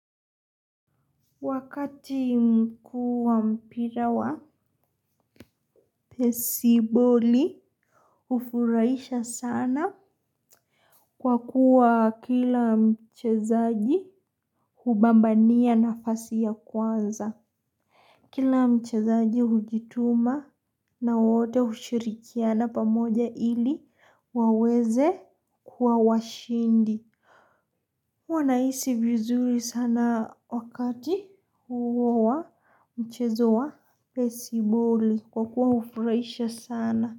Wakati mkuu wa mpira wa besiboli, hufurahisha sana kwa kuwa kila mchezaji hubambania nafasi ya kwanza. Kila mchezaji hujituma na wote hushirikiana pamoja ili waweze kuwa washindi. Huwa nahisi vizuri sana wakati huo wa wa mchezo wa besiboli kwa kuwa hufurahisha sana.